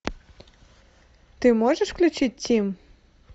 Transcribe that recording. ты можешь включить тим